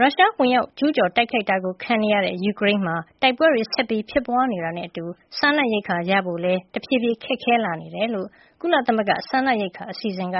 ရုရှားဝင်ရောက်ကျူးကျော် တိုက်ခိုက်တာ ခံနေရတဲ့ ယူကရိန်းမှာ တိုက်ပွဲတွေ ဆက်ဖြစ်ပွားနေတာနဲ့အတူ စားနပ်ရိက္ခာရဖို့လည်း တဖြည်းဖြည်း ခက်ခဲလာနေတယ်လို့ ကုလသမဂ္ဂ စားနပ်ရိက္ခာအစီအစဉ် (WFP)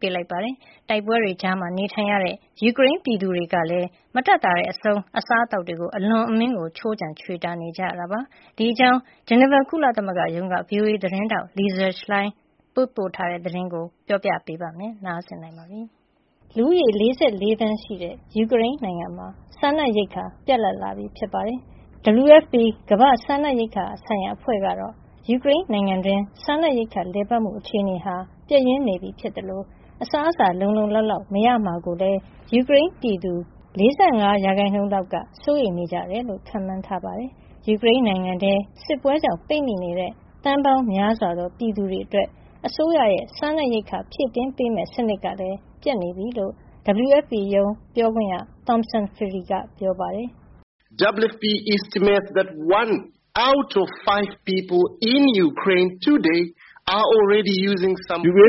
က သတိပေးလိုက်ပါတယ်။ တိုက်ပွဲတွေကြား နေထိုင်ရတဲ့ ယူကရိန်းပြည်သူတွေကလည်း မတတ်သာတဲ့အဆုံး အစားအသောက်အတွက် အလွန်အမင်း ခြိုးခြံချွေတာနေကြတာပါ။ ဒီအကြောင်း ဂျီနီဗာ ကုလသမဂ္ဂရုံးက ဗွီအိုအေသတင်းထောက် Lisa Schlein ပေးပို့ထားတဲ့သတင်းကို ဒေါ်ခင်မျိုးသက် တင်ပြပေးထားပါတယ်။ လူဦးရေ ၄၄ သန်းရှိတဲ့ ယူကရိန်းနိုင်ငံမှာ စားနပ်ရိက္ခာ ပြတ်လပ်လာပြီ ဖြစ်ပါတယ်။ WFP ကမ္ဘာ့စားနပ်ရိက္ခာဆိုင်ရာ အဖွဲ့ကတော့ ယူကရိန်းနိုင်ငံတွင်း စားနပ်ရိက္ခာ လည်ပတ်မှု အခြေနေဟာ ပျက်ယွင်းနေပြီဖြစ်သလို အစားအစာ လုံလုံလောက်လောက် မရမှာကိုလည်း ယူကရိန်းပြည်သူ ၄၅ ရာခိုင်နှုန်းလောက်က စိုးရိမ်နေကြတယ်လို့ ခန့်မှန်းထားပါတယ်။ ယူကရိန်းနိုင်ငံထဲ စစ်ပွဲကြောင့် ပိတ်မိနေတဲ့ သန်းပေါင်းများစွာသော ပြည်သူတွေအတွက် အစိုးရရဲ့ စားနပ်ရိက္ခာ ဖြည့်တင်းပေးမယ့် စနစ်ကလည်း ပျက်နေပြီလို့ WFP ရုံး ပြောခွင့်ရ Tomson Phiri က ပြောပါတယ်။ “ယူကရိန်းမ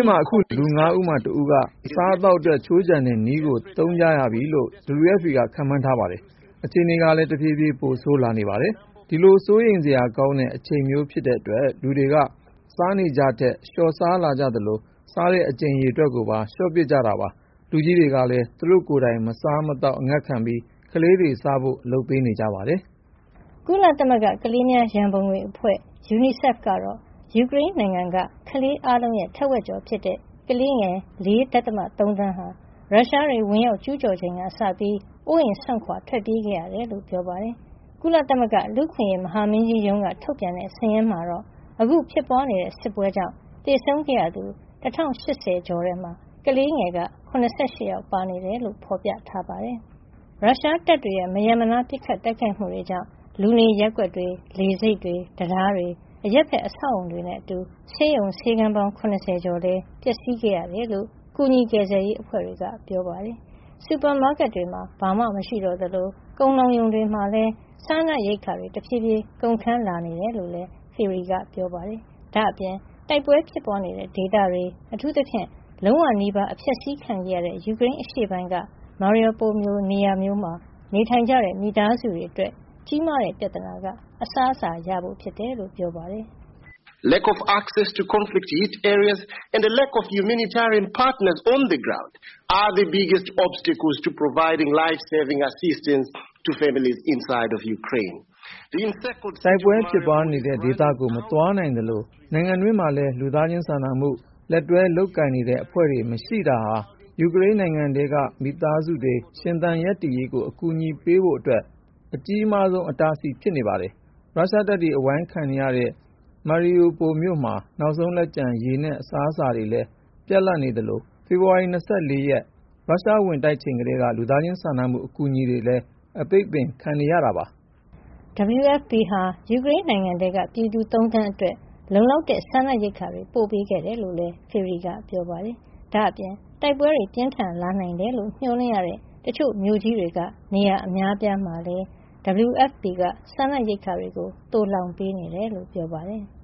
ှာ အခုဆို လူ ၅ ဦးမှာ တဦးက အစားအသောက်အတွက် ခြိုးခြံတဲ့နည်းကို သုံးနေကြပြီလို့ WFP က ခန့်မှန်းထားပါတယ်။ အခြေနေကလည်း တဖြည်းဖြည်း ပိုဆိုးလာနေပါတယ်။ ဒီလို စိုးရိမ်စရာကောင်းတဲ့ အချိန်မျိုး ဖြစ်တဲ့အတွက် လူတွေက သူတို့စားနေကျထက် လျှော့စားလာကြသလို စားတဲ့အကြိမ်ရေကိုပါ လျှော့ပစ်ခဲ့ကြတာပါ။ လူကြီးတွေကလည်း သူတို့ကိုယ်တိုင် မစားမသောက် အငတ်ခံပြီး ကလေးတွေစားဖို့ လုပ်ပေးနေကြပါတယ်။” ကုလသမဂ္ဂ ကလေးများရန်ပုံငွေအဖွဲ့ (UNICEF) ကတော့ ယူကရိန်းနိုင်ငံက ကလေးအားလုံးရဲ့ ထက်ဝက်ကျော်ဖြစ်တဲ့ ကလေးငယ် ၄ ဒသမ ၃ သန်းဟာ ရုရှားတွေ ဝင်ရောက်ကျူးကျော်ချိန်ကစပြီး အိုးအိမ်စွန့်ခွါ ထွက်ပြေးခဲ့ရတယ်လို့ ပြောပါတယ်။ ကုလသမဂ္ဂ လူ့အခွင့်အရေး မဟာမင်းကြီးရုံးက ထုတ်ပြန်တဲ့ စာရင်းမှာတော့ အခုဖြစ်ပွားနေတဲ့ စစ်ကြောင့် သေဆုံးခဲ့ရသူ ၁,၀၈၀ ကျော်ထဲမှာ ကလေးငယ် ၇၈ ယောက် ပါနေတယ်လို့ ဖော်ပြထားပါတယ်။ ရုရှားတပ်တွေရဲ့ မရပ်မနား ပစ်ခတ်တိုက်ခိုက်မှုတွေကြောင့် လူနေရပ်ကွက်တွေ၊ လေဆိပ်တွေ၊ တံတားတွေ၊ အရပ်ဘက် အဆောက်အအုံတွေနဲ့အတူ ဆေးရုံဆေးခန်းပေါင်း ၇၀ ကျော်လည်း ပျက်စီးခဲ့ရတယ်လို့ ကူညီကယ်ဆယ်ရေး အဖွဲ့တွေက ပြောပါတယ်။ စူပါမားကက်တွေမှာ ဘာမှမရှိတော့သလို ကုန်လှောင်ရုံတွေမှာလည်း စားနပ်ရိက္ခာတွေ တဖြည်းဖြည်း ကုန်ခန်းလာနေတယ်လို့ Phiri က ပြောပါတယ်။ ဒါ့အပြင် တိုက်ပွဲဖြစ်ပွားနေတဲ့ဒေသတွေ အထူးသဖြင့် လုံးဝနီးပါး အဖျက်ဆီးခံခဲ့ရတဲ့ ယူကရိန်းရှေ့ပိုင်းက Mariupol လို နေရာမျိုးမှာ နေထိုင်တဲ့ မိသားစုတွေအတွက် ကြီးမားတဲ့ ပြဿနာက အစားအစာရဖို့ဖြစ်ကြောင်း ပြောပါတယ်။ “တိုက်ပွဲဖြစ်ပွားနေတဲ့ ဒေသတွေကို မသွားရောက်နိုင်သလို နိုင်ငံတွင်းမှာလည်း လူသားစာနာမှု လက်တွဲလုပ်ကိုင်နေတဲ့ အဖွဲ့တွေ မရှိတာဟာ ယူကရိန်းနိုင်ငံထဲက မိသားစုတွေ ရှင်သန်ရပ်တည်ရေးကို အကူအညီ ပေးဖို့အတွက် အကြီးမားဆုံး အတားအဆီး ဖြစ်နေပါတယ်။ ရုရှားတပ်တွေ အဝိုင်းခံနေရတဲ့ Mariupol မြို့မှာ နောက်ဆုံးလက်ကျန် ရေနဲ့ အစားအစာတွေလည်း ပြတ်နေသလို ဖေဖော်ဝါရီ ၂၄ ရုရှားဝင်တိုက်ချိန်ကတည်းက လူသားစာနာမှု အကူအညီတွေလည်း အပိတ်ပင်ခံနေရတာပါ။” WFP ဟာ ယူကရိန်းနိုင်ငံထဲက ပြည်သူ ၃ သန်းအတွက် လုံလောက်တဲ့ စားနပ်ရိက္ခာတွေ ပို့ပေးခဲ့တယ်လို့လည်း Phiri က ပြောပါတယ်။ ဒါ့အပြင် တိုက်ပွဲတွေ ပြင်းထန်လာနိုင်တယ်လို့ မျှော်လင့်ရတဲ့ တချို့မြို့ကြီးတွေက နေရာအများအပြားမှာလည်း WFP က စားနပ်ရိက္ခာတွေ သိုလှောင်ပေးနေတယ်လို့လည်း ပြောပါတယ်။